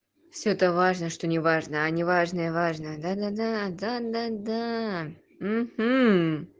все это важно что неважно неважно важно да-да-да